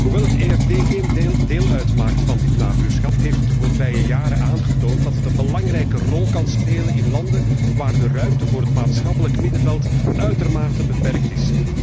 Hoewel het EFD geen deel uitmaakt van dit nabuurschap, heeft het de voorbije jaren aangetoond dat het een belangrijke rol kan spelen in landen waar de ruimte voor het maatschappelijk middenveld uitermate beperkt is.